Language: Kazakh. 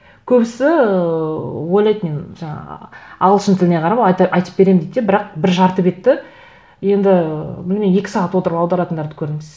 көбісі ыыы ойлайды мен жаңа ағылшын тіліне қарап айтып беремін дейді де бірақ бір жарты бетті енді ы білмеймін екі сағат отырып аударатындарды көрдім